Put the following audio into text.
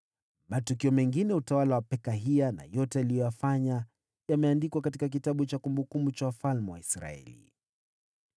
Matukio mengine ya utawala wa Pekahia na yote aliyoyafanya yameandikwa katika kitabu cha kumbukumbu za wafalme wa Israeli.